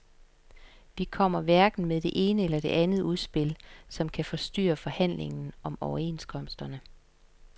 Vi kommer hverken med det ene eller det andet udspil, som kan forstyrre forhandlingerne om overenskomsterne.